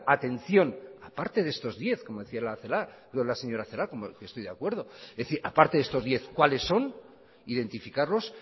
atención aparte de estos diez como decía la señora celaá que estoy de acuerdo es decir aparte de estos diez cuáles son identificarlos